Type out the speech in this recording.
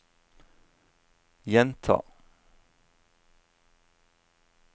gjenta